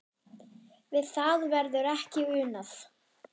Við það verður ekki unað.